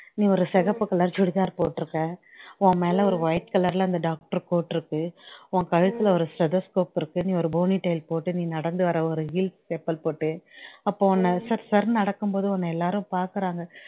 நீ ஒரு சிவப்பு color churidar போட்டு இருக்க உன்மேல அந்த ஒரு white color ல அந்த doctor coat இருக்கு உன் கழுத்துல ஒரு stethoscope இருக்கு நீ ஒரு ponytail போட்டு நீ நடந்து வர்ற ஒரு heels chapel போட்டு அப்போ உன்ன சர் சர் நடக்கும்போது உன்ன எல்லாரும் பாக்குறாங்க